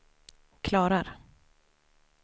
klarar